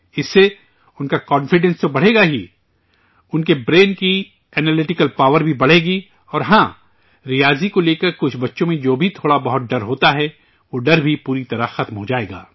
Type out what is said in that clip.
اس سے، ان کا کانفیڈنس تو بڑھے گا ہی، ان کے برین کی اینالیٹکیکل پاور بھی بڑھے گی اور ہاں، ریاضی کو لے کر کچھ بچوں میں جو بھی تھوڑا بہت ڈر ہوتا ہے، وہ ڈر بھی پوری طرح ختم ہو جائے گا